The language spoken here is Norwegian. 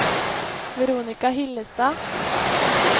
Veronica Hillestad